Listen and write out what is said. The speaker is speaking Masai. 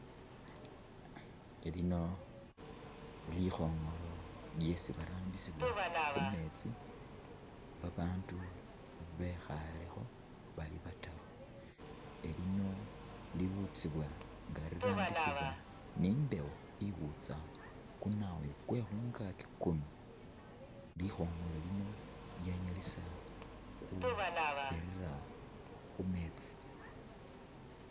Elino likhongolo lyesi barambisila khumeetsi babandu bekhalekho bali bataru elino liwutsiwa nga lirambisiwa ni embewo iwutsa kunayu kwekunkaki kuno likongolo lino lyanyalisa khubirira khumeetsi.